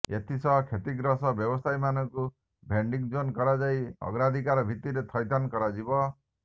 ଏଥିସହ କ୍ଷତିଗ୍ରସ୍ତ ବ୍ୟବସାୟୀମାନଙ୍କୁ ଭେଣ୍ଡିଂଜୋନ୍ କରଯାଇ ଅଗ୍ରାଧିକାର ଭିତ୍ତିରେ ଥଇଥାନ କରାଯିବ